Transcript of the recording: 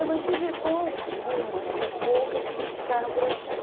Eu mantive com algumas, muito poucas, que ficaram por aqui.